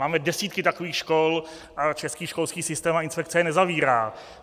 Máme desítky takových škol a český školský systém a inspekce je nezavírá.